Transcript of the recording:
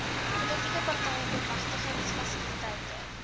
politieke partye bemagtigingsfasiliteite